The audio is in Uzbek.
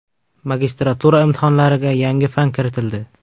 Magistratura imtihonlariga yangi fan kiritildi.